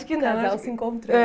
Acho que não O casal se encontrou. É